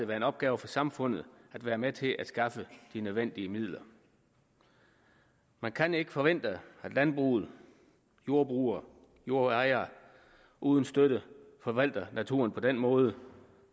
være en opgave for samfundet at være med til at skaffe de nødvendige midler man kan ikke forvente at landbruget jordbrugere jordejere uden støtte forvalter naturen på den måde